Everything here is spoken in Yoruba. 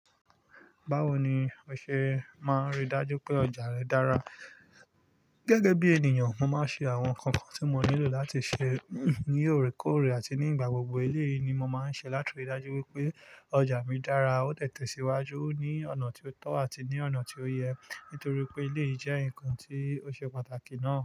Báwo ni o ṣe máa n rí i dájú pé ọjà rẹ dára? Gẹ́gẹ́ bí ènìyàn, mo máa ń ṣe àwọn nǹkankan tí mo nílò láti ṣe ní oorékóòrè àti nígbà gbogbo. Eleyìi ni mo máa ń ṣe láti rí i dájú wípé ọjà mi dára, ó dẹ tẹ síwájú ní ọ̀nà tí ó tọ́ àti ní ọ̀nà tí ó yẹ. Nítorí pé ilé yìí jẹ́ nǹkan tí ó ṣe pàtàkì náà.